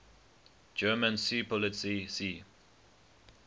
german seepolizei sea